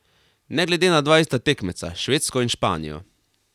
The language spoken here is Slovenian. Ne glede na dva ista tekmeca, Švedsko in Španijo.